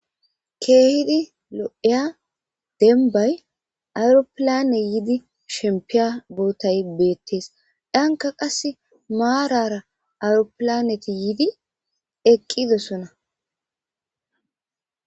keehidi lo7eya denbay awuropilane yiidi shempiya bootay beettees danka qas maarara awuropilaneti yiidi eqqidosona